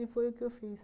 foi o que eu fiz.